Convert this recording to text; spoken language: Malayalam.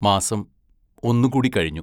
മാസം ഒന്നുകൂടി കഴിഞ്ഞു.